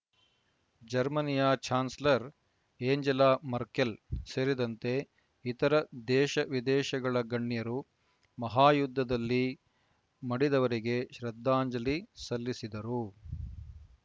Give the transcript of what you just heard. ಜರ್ಮನಿಯ chancellor Angela Merkel ಸೇರಿದಂತೆ ಇತರ ದೇಶವಿದೇಶಗಳ ಗಣ್ಯರು ಮಹಾಯುದ್ಧದಲ್ಲಿ ಮಡಿದವರಿಗೆ ಶ್ರದ್ಧಾಂಜಲಿ ಸಲ್ಲಿಸಿದರು